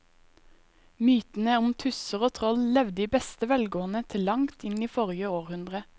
Mytene om tusser og troll levde i beste velgående til langt inn i forrige århundre.